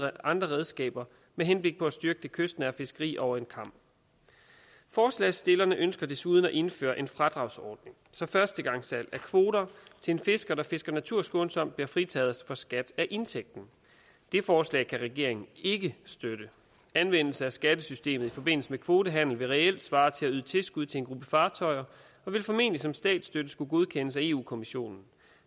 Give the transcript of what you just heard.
andre redskaber med henblik på at styrke det kystnære fiskeri over en kam forslagsstillerne ønsker desuden at indføre en fradragsordning så førstegangssalg af kvoter til en fisker der fisker naturskånsomt bliver fritaget for skat af indtægten det forslag kan regeringen ikke støtte anvendelse af skattesystemet i forbindelse med kvotehandel vil reelt svare til at yde tilskud til en gruppe fartøjer og ville formentlig som statsstøtte skulle godkendes af europa kommissionen